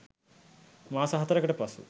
මාස හතරකට පසු